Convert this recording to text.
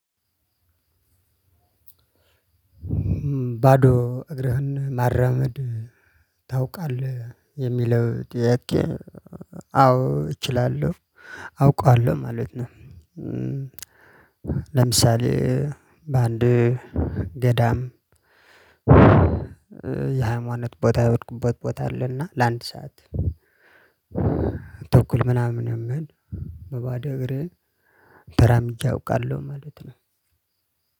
ባዶ እግርህን መራመድ ታውቃለህ? የሚለው ጥያቄ አዎ እችላለሁ። አውቃለሁ ማለት ነው። ለምሳሌ:- ባንድ ገዳም የሃይማኖት ቦታ የሄድኩበት ቦታ አለ እና ለአንድ ሰዓት- ተኩል ምናምን የሚሆን በባዶ እግሬ ተራምጄ አውቃለሁ ማለት ነው።